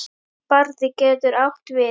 Barði getur átt við